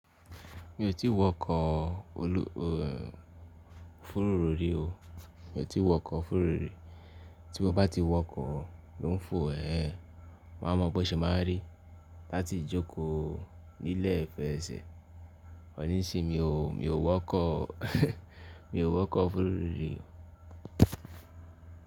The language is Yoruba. Mi ò tí wọkọ̀ òfurufú rí o. Ti mo bá ti wọkọ̀ ló n fo ẹ, máa mọ bó ṣe máa rí láti jókòó ní ilé ìfẹ̀sẹ̀. Òníṣẹ mi ò wọkọ̀, mi ò wọkọ̀ òfurufú rí o.